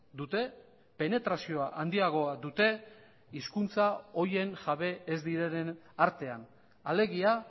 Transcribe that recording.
dute penetrazioa handiagoa dute hizkuntza horien jabe ez direnen artean alegia